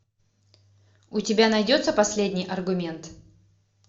у тебя найдется последний аргумент